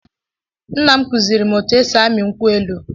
Nna m kụziiri m otú e si ami nkwụ elụ.